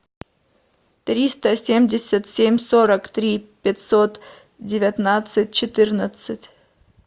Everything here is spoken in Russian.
триста семьдесят семь сорок три пятьсот девятнадцать четырнадцать